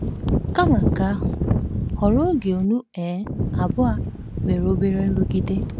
Kama nke ahụ, họrọ oge unu um abụọ nwere obere nrụgide.